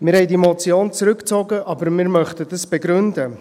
Wir haben diese Motion zurückgezogen, aber wir möchten es begründen.